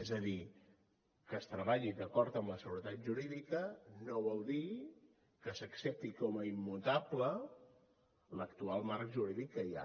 és a dir que es treballi d’acord amb la seguretat jurídica no vol dir que s’accepti com a immutable l’actual marc jurídic que hi ha